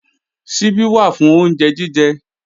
Ṣíbí wà fún oúnjẹ jíjẹ